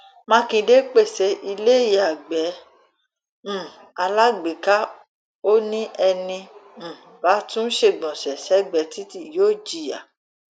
mákindé pẹsẹ ìlẹyàgbé um alágbèéká ò ní ẹni um bá tún ṣègbọnṣe sẹgbẹẹ títí yóò jìyà